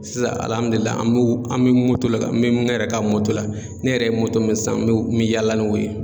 Sisan an mi le kan n mi ne yɛrɛ ka la ne yɛrɛ ye min san n mi yaala n'o ye